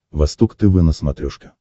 восток тв на смотрешке